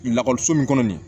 Lakɔliso min kɔnɔ nin ye